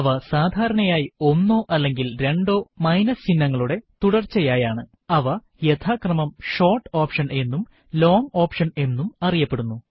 അവ സാധാരണയായി ഒന്നോ അല്ലെങ്കിൽ രണ്ടോ മൈനസ് ചിഹ്നങ്ങളുടെ തുടർച്ചയായാണ് അവ യഥാക്രമം ഷോർട്ട് ഓപ്ഷൻ എന്നും ലോങ്ങ് ഓപ്ഷൻ എന്നും അറിയപ്പെടുന്നു